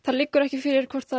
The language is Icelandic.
liggur ekki fyrir hvort það